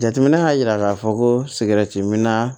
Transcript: Jateminɛ y'a yira k'a fɔ ko min na